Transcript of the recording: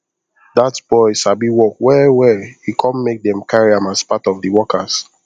that boy sabi work well well e come make them carry am as part of the workers